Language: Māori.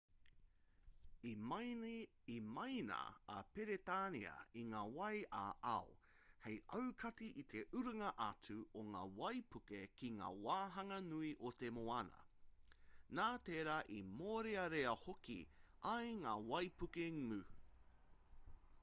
i maina a peretānia i ngā wai ā-ao hei aukati i te urunga atu o ngā waipuke ki ngā wāhanga nui o te moana nā tērā i mōrearea hoki ai ngā waipuke ngū